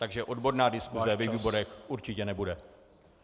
Takže odborná diskuse ve výborech určitě nebude.